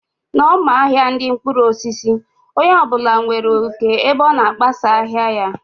N' ọma ahia ndị mkpụrụ osisi, onye ọ bụla nwere oké ebe ọ na kpọsaa ahịa ya